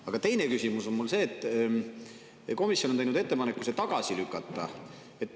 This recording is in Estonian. Aga teine küsimus on mul see, et komisjon on teinud ettepaneku see tagasi lükata.